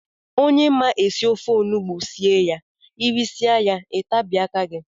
Onye ma esị ofe ọnụgbu sie ya irisie ya itabie aka gị.